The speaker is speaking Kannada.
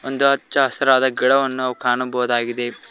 ಒಂದು ಹಚ್ಚ ಹಸಿರಾದ ಗಿಡವನ್ನು ನಾವು ಕಾಣಬಹುದಾಗಿದೆ.